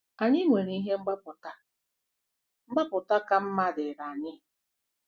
Anyị nwere ihe mgbapụta mgbapụta ka mma dịịrị anyị.